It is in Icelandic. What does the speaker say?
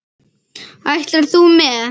Ætlar þú með?